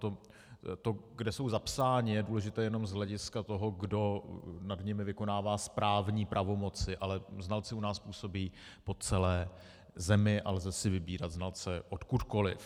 To, kde jsou zapsáni, je důležité jenom z hlediska toho, kdo nad nimi vykonává správní pravomoci, ale znalci u nás působí po celé zemi a lze si vybírat znalce odkudkoliv.